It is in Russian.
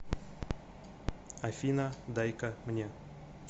афина дай ка мне